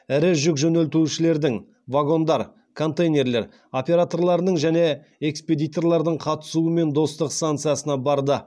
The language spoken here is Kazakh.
ірі жүк жөнелтушілердің вагондар операторларының және экспедиторлардың қатысуымен достық станциясына барды